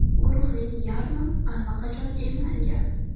Guruhning yarmi allaqachon emlangan.